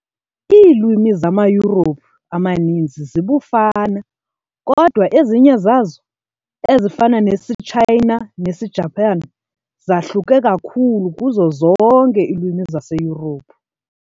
Iilwimi zamaYurophu amaninzi zibufana, kodwa ezinye zazo, ezifana nesiTshayina nesiJaphane, zahluke kakhulu kuzo zonke iilwimi zaseYurophu.